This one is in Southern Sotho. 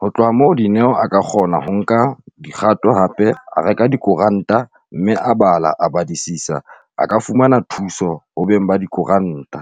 Ho tloha moo Dineo a ka kgona ho nka dikgato hape a reka dikoranta mme a bala a badisisa. A ka fumana thuso ho beng ba dikoranta.